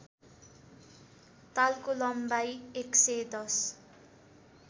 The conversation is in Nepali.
तालको लम्बाइ ११०